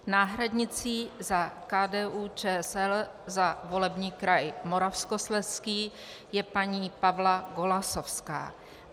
Náhradnicí za KDU-ČSL za volební kraj Moravskoslezský je paní Pavla Golasowská.